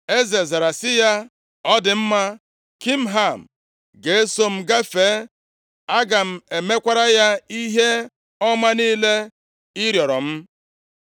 Eze zara sị ya, “Ọ dị mma, Kimham ga-eso m gafee, aga m emekwara ya ihe ọma niile ị rịọrọ m.”